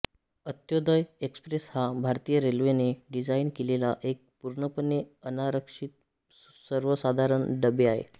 अंत्योदय express हा भारतीय रेल्वेने डिझाइन केलेला एक पूर्णपणे अनारक्षितसर्वसाधारण डबे आहे